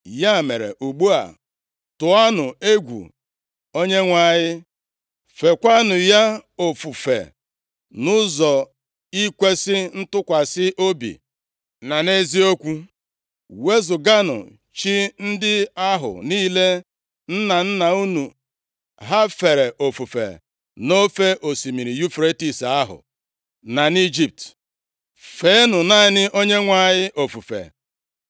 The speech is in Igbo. “Ya mere ugbu a, tụọnụ egwu Onyenwe anyị, feekwanụ ya ofufe nʼụzọ ikwesi ntụkwasị obi na nʼeziokwu. Wezuganụ chi ndị ahụ niile nna nna unu ha fere ofufe nʼofe osimiri Yufretis ahụ, na nʼIjipt. Feenụ naanị Onyenwe anyị ofufe.